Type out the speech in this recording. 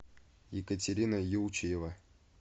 екатерина еучеева